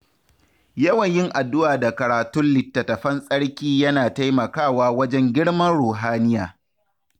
Yawan yin addu’a da karatun littattafan tsarki yana taimakawa wajen girman ruhaniya.